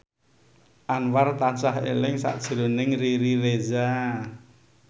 Anwar tansah eling sakjroning Riri Reza